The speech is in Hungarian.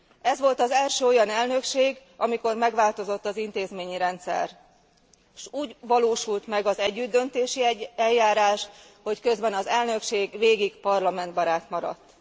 Ez volt az első olyan elnökség, amikor megváltozott az intézményi rendszer, s úgy valósult meg az együttdöntési eljárás, hogy közben az elnökség végig parlamentbarát maradt.